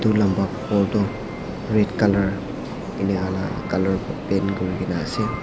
etu lamba ghor tu red color paint kuri kina ase.